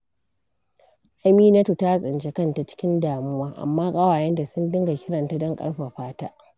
Aminatu ta tsinci kanta cikin damuwa, amma ƙawayenta sun dinga kiranta don ƙarfafa ta.